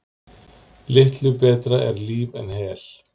Litlu betra er líf en hel.